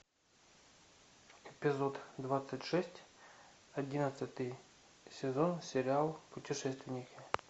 эпизод двадцать шесть одиннадцатый сезон сериал путешественники